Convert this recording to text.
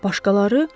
Başqaları?